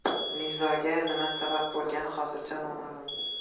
Nizoga nima sabab bo‘lgani hozircha noma’lum.